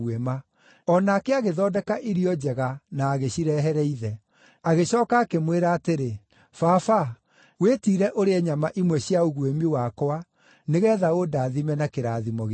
O nake agĩthondeka irio njega na agĩcirehere ithe. Agĩcooka akĩmwĩra atĩrĩ, “Baba, wĩtiire ũrĩe nyama imwe cia ũguĩmi wakwa nĩgeetha ũndathime na kĩrathimo gĩaku.”